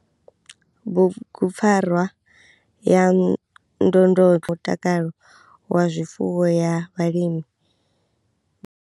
Bugupfarwa ya ndondolo mutakalo wa zwifuwo ya vhalimi.